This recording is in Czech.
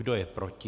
Kdo je proti?